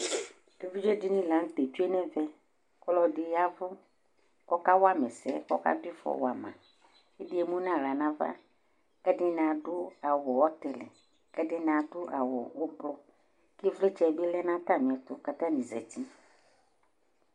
Evidze dini lanutɛ tsue nɛvɛ Ɔlɔdɩ yavʊ kɔka wama ɛsɛ, kɔka difɔ wa ma Kɛdi mʊnawla nava Kɛdini adʊ awʊ ɔtɩlɩ Kɛdɩnɩ adʊ awʊ ɛblɔr Kɩvlɩtsɛ kɛ natɛlɩɛtʊ jatanɩ zatɩ